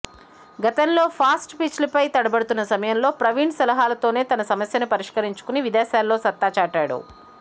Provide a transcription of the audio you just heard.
గతంలో ఫాస్ట్ పిచ్లపై తడబడుతున్న సమయంలో ప్రవీణ్ సలహాలతోనే తన సమస్యను పరిష్కరించుకుని విదేశాల్లో సత్తా చాటాడు